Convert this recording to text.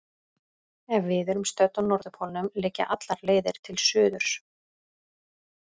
Ef við erum stödd á norðurpólnum liggja allar leiðir til suðurs.